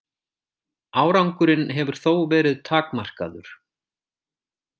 Árangurinn hefur þó verið takmarkaður.